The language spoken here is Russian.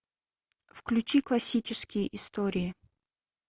включи классические истории